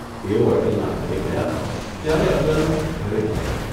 એઓ અટલના ઘરે ગયા ત્યારે અટલ ઘરે નહોતો.